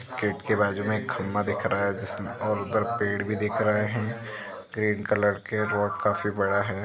Gate की बाजु में एक खम्बा दिख रहा है जिसमे और उधर पेड़ भी दिख रहे है ग्रीन कलर के वोट काफी बड़ा है।